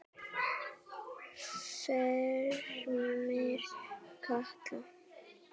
Fremur kalt.